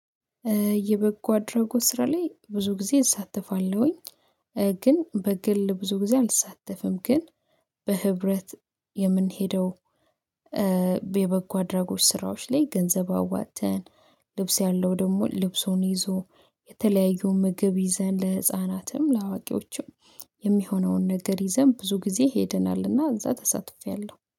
የበጎ አድራጎት ስራ ላይ ብዙ ጊዜ እሳተፋለሁኝ። ግን በግል ብዙ ጊዜ አልሳተፍም። ግን በህብረት የምንሄደው። የበጎ አድራጎች ስራዎች ላይ ገንዘብ አዋጥተን ልብስ ያለው ደግሞ ልብሱን ይዞ የተለያዩ ምግብ ይዘን ለህፃናትም ለአዋቂዎቹም የሚሆነውን ነገር ይዘን ብዙ ጊዜ ሄደናልና። እዛ ተሳትፌያለሁ